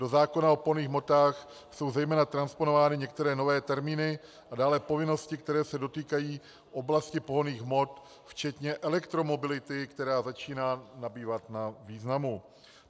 Do zákona o pohonných hmotách jsou zejména transponovány některé nové termíny a dále povinnosti, které se dotýkají oblasti pohonných hmot, včetně elektromobility, která začíná nabývat na významu.